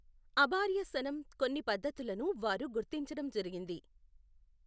అబార్యసనం కొన్ని పద్ధతలును వారు గుర్తించడం జరిగింది.